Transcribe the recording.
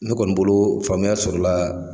Ne kɔni bolo faamuya sɔrɔ la